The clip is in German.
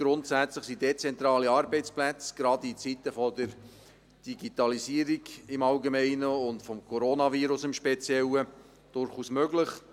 Grundsätzlich sind dezentrale Arbeitsplätze, gerade in Zeiten der Digitalisierung im Allgemeinen und des Coronavirus im Speziellen, durchaus möglich.